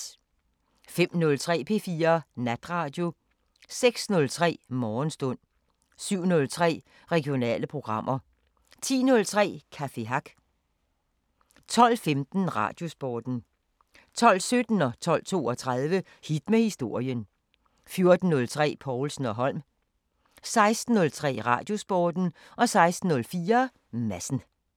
05:03: P4 Natradio 06:03: Morgenstund 07:03: Regionale programmer 10:03: Café Hack 12:15: Radiosporten 12:17: Hit med historien 12:32: Hit med historien 14:03: Povlsen & Holm 16:03: Radiosporten 16:04: Madsen